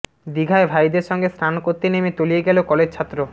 দিঘায় ভাইদের সঙ্গে স্নান করতে নেমে তলিয়ে গেল কলেজছাত্র